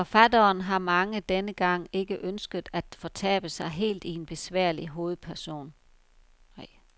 Forfatteren har denne gang ikke ønsket at fortabe sig helt i en besværlig hovedperson.